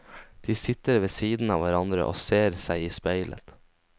De sitter ved siden av hverandre og ser seg i speilet.